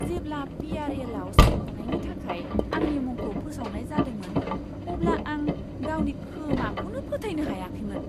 जेब्ला P. R. L. आव सायख'नायनि थाखाय आंनि मुंखौ फोसावनाय जादोंमोन अब्ला आं गावनि खोमाखौनो फोथायनो हायाखैमोन।